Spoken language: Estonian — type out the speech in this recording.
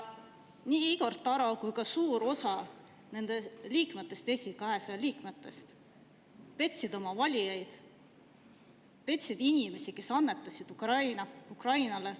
Nii Igor Taro kui ka suur osa Eesti 200 liikmetest petsid oma valijaid, petsid inimesi, kes annetasid Ukrainale.